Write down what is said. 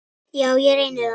Já, ég reyni það.